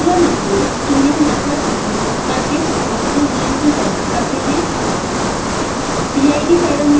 अब zieglernichols tuning method उपयोग करके proportional gain कि गणना करते हैं